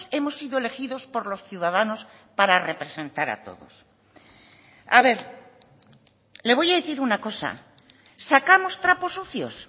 hemos sido elegidos por los ciudadanos para representar a todos a ver le voy a decir una cosa sacamos trapos sucios